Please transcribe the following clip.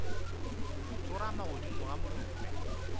ya tsorama godimo ga molope